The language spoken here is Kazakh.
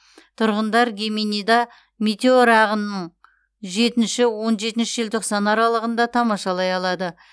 тұрғындар геминида метеор ағынын жетінші он жетінші желтоқсан аралығында тамашалай алады